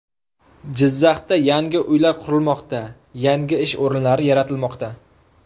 Jizzaxda yangi uylar qurilmoqda, yangi ish o‘rinlari yaratilmoqda .